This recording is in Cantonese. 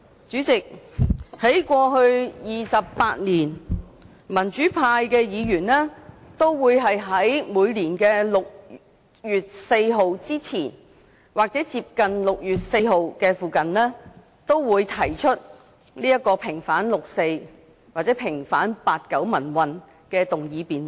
主席，在過去28年，民主派議員都會在每年的6月4日之前或接近6月4日時，提出平反六四或平反八九民運的議案辯論。